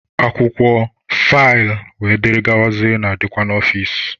Akwụkwọ, faịlụ wdg na-adịkwa n'ọfici.